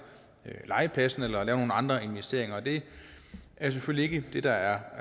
legepladsen eller lave nogle andre investeringer det er selvfølgelig ikke det der er